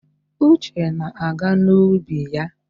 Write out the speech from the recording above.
Uche na-aga n'ubi ya.